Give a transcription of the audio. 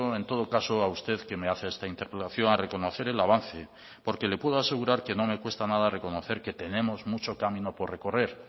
en todo caso a usted que me hace esta interpelación a reconocer el avance porque le puedo asegurar que no me cuesta nada reconocer que tenemos mucho camino por recorrer